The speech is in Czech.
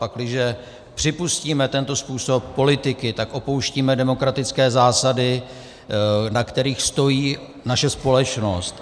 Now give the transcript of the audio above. Pakliže připustíme tento způsob politiky, tak opouštíme demokratické zásady, na kterých stojí naše společnost.